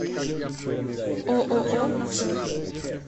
ооо цех